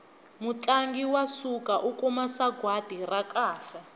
mutlangi wa siku u kuma sagwati ra kahle